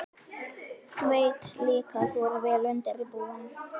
Veit líka að þú ert vel undirbúinn.